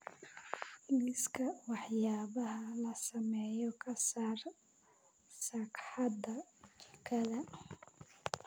Liiska waxyaabaha la sameeyo ka saar sagxadda jikada